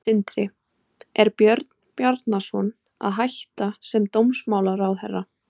Sindri: Er Björn Bjarnason að hætta sem dómsmálaráðherra?